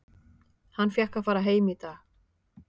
Hann fékk að fara heim í dag.